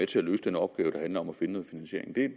til at løse den opgave der handler om at finde en finansiering det